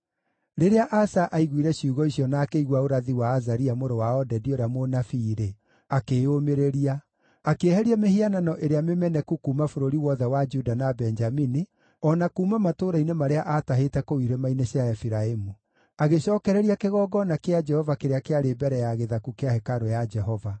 Rĩrĩa Asa aiguire ciugo icio na akĩigua ũrathi wa Azaria mũrũ wa Odedi ũrĩa mũnabii-rĩ, akĩĩyũmĩrĩria. Akĩeheria mĩhianano ĩrĩa mĩmeneku kuuma bũrũri wothe wa Juda na Benjamini, o na kuuma matũũra-inĩ marĩa aatahĩte kũu irĩma-inĩ cia Efiraimu. Agĩcookereria kĩgongona kĩa Jehova kĩrĩa kĩarĩ mbere ya gĩthaku kĩa hekarũ ya Jehova.